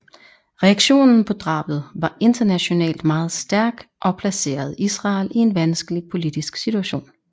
Reaktionen på drabet var internationalt meget stærk og placerede Israel i en vanskelig politisk situation